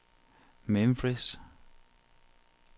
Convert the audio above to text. Memphis